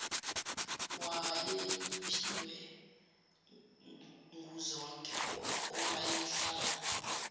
wayeyiphiwe nguzonke owayehlala